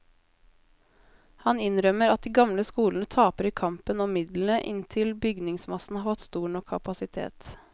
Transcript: Han innrømmer at de gamle skolene taper i kampen om midlene inntil bygningsmassen har fått stor nok kapasitet.